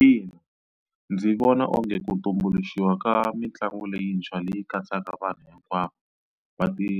Ina ndzi vona onge ku tumbuluxiwa ka mitlangu leyintshwa leyi katsaka vanhu hinkwavo va ti